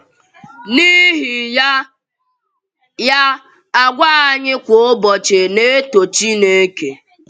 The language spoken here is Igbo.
N’ihi ya, ya, àgwà anyị kwa ụbọchị na-eto Chínèké.